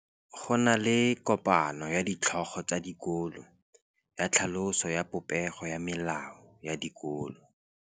Go na le kopanô ya ditlhogo tsa dikolo ya tlhaloso ya popêgô ya melao ya dikolo.